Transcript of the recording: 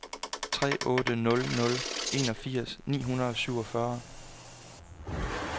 tre otte nul nul enogfirs ni hundrede og syvogfyrre